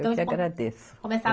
Eu que agradeço. Começar.